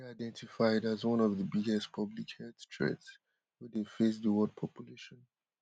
e dey identified as one of di biggest public health threats wey dey face di world population